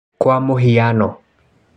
kwa mũhiano.